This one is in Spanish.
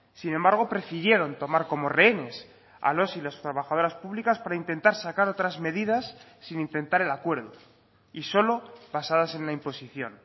sin embargo prefirieron tomar como rehenes a los y las trabajadoras públicas para intentar sacar otras medidas sin intentar el acuerdo y solo basadas en la imposición